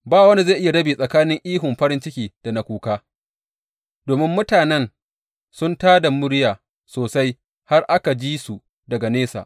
Ba wanda zai iya rabe tsakanin ihun farin ciki da na kuka, domin mutanen sun tā da murya sosai har aka ji su daga nesa.